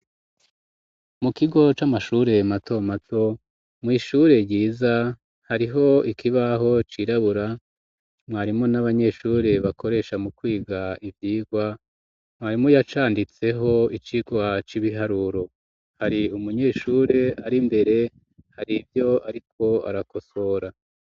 Mu kigo c'amashure mato mato mw'ishure ryiza hariho ikibaho cirabura mwarimu n'abanyeshure bakoresha mu kwiga ivyigwa mwarimu yacanditseho icigwa c'ibiharuro, hari umunyeshure ari mbere hari ivyo ariko arakosora.